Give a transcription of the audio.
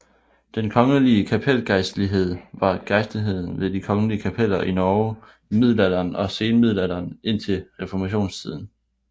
Den kongelige kapelgejstlighed var gejstligheden ved de kongelige kapeller i Norge i middelalderen og senmiddelalderen indtil reformationstiden